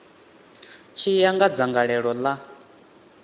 tshi ya nga dzangalelo ḽa